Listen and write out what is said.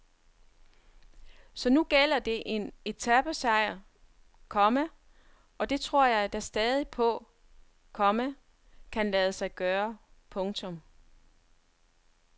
Så nu gælder det en etapesejr, komma og det tror jeg da stadig på, komma kan lade sig gøre. punktum